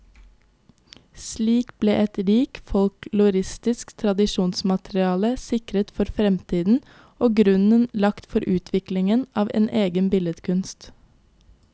Slik ble et rikt folkloristisk tradisjonsmateriale sikret for fremtiden, og grunnen lagt for utviklingen av en egen billedkunst.